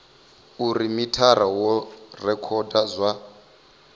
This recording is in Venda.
uri mithara wo rekhoda zwa